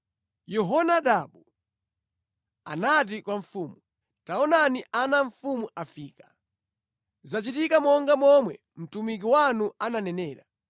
Yehonadabu anati kwa mfumu, “Taonani ana a mfumu afika. Zachitika monga momwe mtumiki wanu ananenera.”